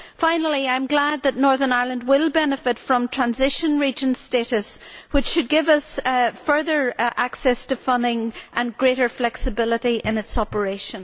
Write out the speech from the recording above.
Finally, I am glad that Northern Ireland will benefit from transition region status, which should give us further access to funding and greater flexibility in its operation.